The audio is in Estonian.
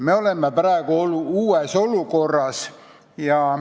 Me oleme praegu uues olukorras.